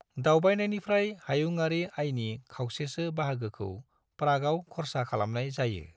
दावबायनायनिफ्राय हायुंआरि आयनि खावसेसो बाहागोखौ प्रागआव खरसा खालामनाय जायो।